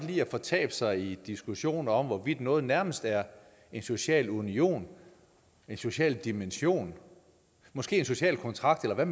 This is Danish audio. lide at fortabe sig i diskussioner om hvorvidt noget nærmest er en social union en social dimension måske en social kontrakt eller hvad